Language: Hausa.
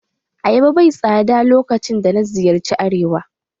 Ayaba bai tsada lokacin da na ziyarci arewa.